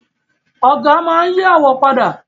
Ọ̀gá máa n yí àwo padà